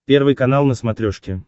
первый канал на смотрешке